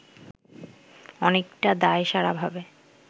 অনেকটা দায়সারাভাবে